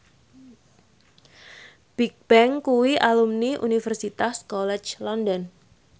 Bigbang kuwi alumni Universitas College London